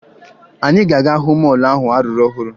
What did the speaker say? Anyị ga-aga hụ mọọlụ ahụ a rụrụ ọhụrụ